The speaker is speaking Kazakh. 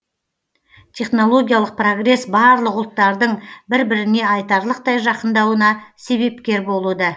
технологиялық прогресс барлық ұлттардың бір біріне айтарлықтай жақындауына себепкер болуда